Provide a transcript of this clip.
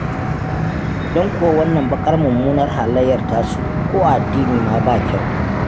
Don kuwa wannan baƙar mummunar halayyar tasu, ko a addini ma ba kyau.